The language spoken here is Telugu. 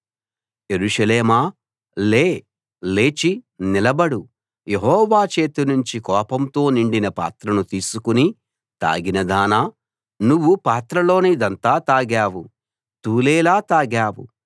యెరూషలేమా లే లేచి నిలబడు యెహోవా చేతినుంచి కోపంతో నిండిన పాత్రను తీసుకుని తాగినదానా నువ్వు పాత్రలోనిదంతా తాగావు తూలేలా తాగావు